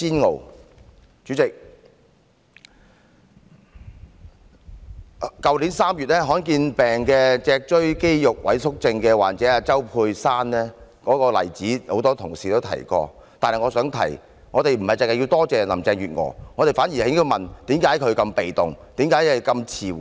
代理主席，多位同事都提到去年3月罕見疾病脊髓肌肉萎縮症患者周佩珊向特首陳情的例子，但我想說，我們不應只多謝林鄭月娥，反而應問她為何如此被動，反應如此遲緩。